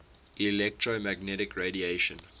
electromagnetic radiation